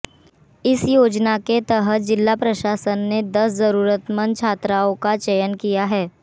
इस योजना के तहत जिला प्रशासन ने दस जरूरतमंद छात्राओं का चयन किया है